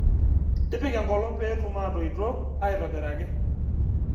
Tipika enkolong pee etum aatoito aitobiraki